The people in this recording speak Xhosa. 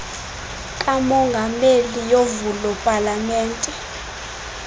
kamongameli yovulo palamente